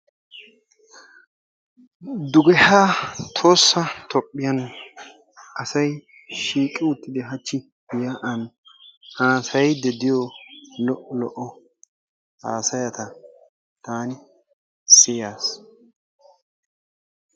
Duge haa tohossa toophiyaan asay shiiqqi uttidi hachchi yaa'aan hasayiidi de'iyoo lo'o lo"o hasayata taani siyaas.